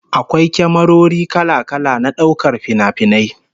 Akwai kyamarori kala-kala na daukar finafinai